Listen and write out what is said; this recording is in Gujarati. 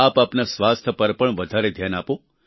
આપ આપના સ્વાસ્થ્ય પર પણ વધારે ધ્યાન આપો